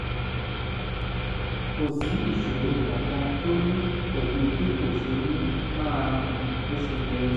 kò sí ìṣòro kankan tó ní pẹ̀lú bí kò ṣe ní máa rìn bó ṣe yẹ